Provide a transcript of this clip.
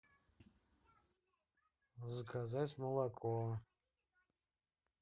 заказать молоко